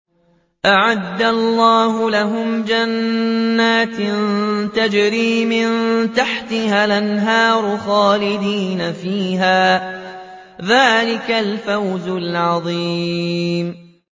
أَعَدَّ اللَّهُ لَهُمْ جَنَّاتٍ تَجْرِي مِن تَحْتِهَا الْأَنْهَارُ خَالِدِينَ فِيهَا ۚ ذَٰلِكَ الْفَوْزُ الْعَظِيمُ